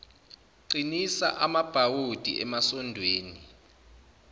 qinisa amabhawodi emasondweni